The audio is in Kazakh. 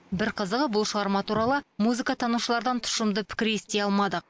бір қызығы бұл шығарма туралы музыка танушылардан тұщымды пікір ести алмадық